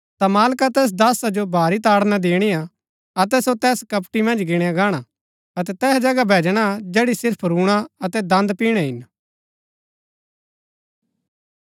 ता मालका तैस दासा जो भारी ताड़ना दिणिआ अतै सो तैस कपटी मन्ज गिणया गाणा अतै तैहा जगह भैजणा जैड़ी सिर्फ रूणा अतै दन्द पिणै हिन